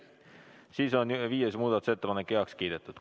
Siis on viies muudatusettepanek heaks kiidetud.